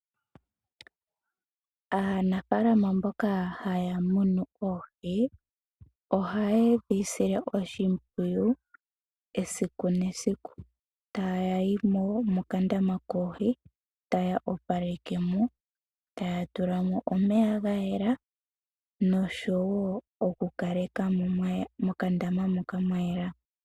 Aanafaalama mboka haya munu oohi , ohaye dhi sile oshimpwiyu gesiku nesiku. Ohayayi mokandama koohi, taye shi tulamo noku opalekamo , taya tulamo omeya gayela noshowoo okukalekamo mwayela.